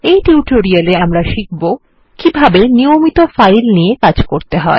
এই টিউটোরিয়াল এ আমরা শিখব কিভাবে নিয়মিত ফাইল নিয়ে কাজ করতে হয়